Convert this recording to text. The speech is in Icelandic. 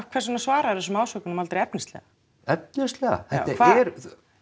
hvers vegna svaraðiru þessum ásökunum aldrei efnislega efnislega þetta er